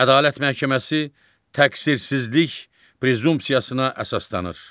Ədalət məhkəməsi təqsirsizlik prezumpsiyasına əsaslanır.